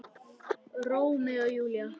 Rómeó og Júlía!